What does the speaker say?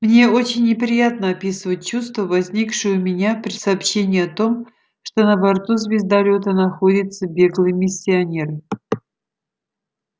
мне очень неприятно описывать чувства возникшие у меня при сообщении о том что на борту звездолёта находится беглый миссионер